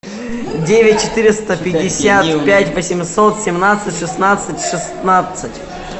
девять четыреста пятьдесят пять восемьсот семнадцать шестнадцать шестнадцать